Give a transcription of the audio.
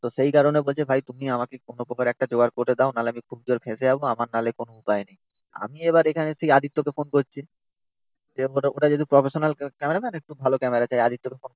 তো সেই কারণে বলছে ভাই তুমি আমাকে কোনো প্রকারে একটা জোগাড় করে দাও নাহলে আমি খুব জোর ফেসে যাব। না হলে আমার কোনো উপায় নেই। আমি এবার এখানে সেই আদিত্য কে ফোন করছি। যে ওটা যদি প্রফেশনাল ক্যামেরাম্যান একটু ভালো ক্যামেরা। তাই আদিত্য কে ফোন করছি।